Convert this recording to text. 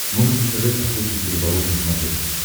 можешь показать охотник и рыболов на смотрешке